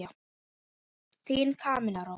Þín Camilla Rós.